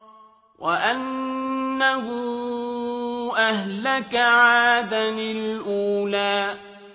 وَأَنَّهُ أَهْلَكَ عَادًا الْأُولَىٰ